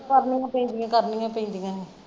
ਕਰਨੀਆਂ ਪੈਂਦੀਆਂ ਕਰਨੀਆਂ ਪੈਂਦੀਆਂ ਨੇ।